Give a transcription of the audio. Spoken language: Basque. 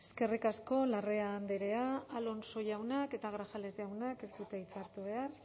eskerrik asko larrea andrea alonso jaunak eta grajales jaunak ez dute hitza hartu behar